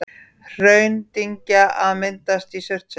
Hraundyngja að myndast í Surtsey.